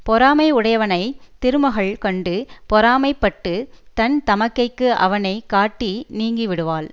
பொறாமை உடையவனை திருமகள் கண்டு பொறாமைப்பட்டுத் தன் தமக்கைக்கு அவனை காட்டி நீங்கி விடுவாள்